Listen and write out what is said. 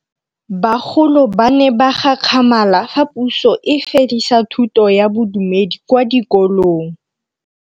Bagolo ba ne ba gakgamala fa Pusô e fedisa thutô ya Bodumedi kwa dikolong.